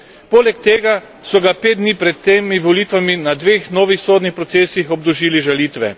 Poleg tega so ga pet dni pred temi volitvami na dveh novih sodnih procesih obdolžili žalitve.